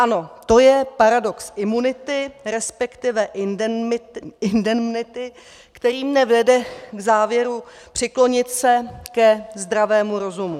Ano, to je paradox imunity, respektive indemnity, který mne vede k závěru přiklonit se ke zdravému rozumu.